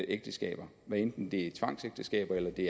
ægteskaber hvad enten det er tvangsægteskaber eller det